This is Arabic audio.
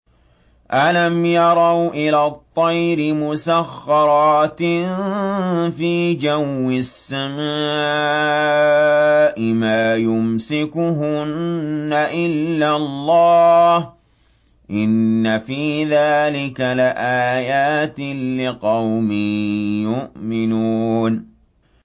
أَلَمْ يَرَوْا إِلَى الطَّيْرِ مُسَخَّرَاتٍ فِي جَوِّ السَّمَاءِ مَا يُمْسِكُهُنَّ إِلَّا اللَّهُ ۗ إِنَّ فِي ذَٰلِكَ لَآيَاتٍ لِّقَوْمٍ يُؤْمِنُونَ